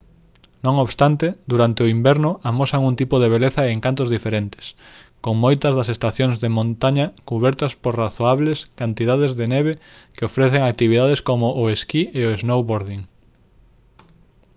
non obstante durante o inverno amosan un tipo de beleza e encanto diferentes con moitas das estacións de montaña cubertas por razoables cantidades de neve que ofrecen actividades como o esquí e o snowboarding